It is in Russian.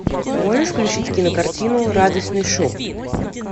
можешь включить кинокартину радостный шум